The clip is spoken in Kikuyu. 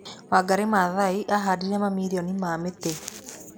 Wangari Maathai aahaandire mamirioni ya mĩtĩ.